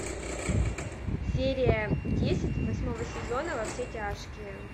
серия десять восьмого сезона во все тяжкие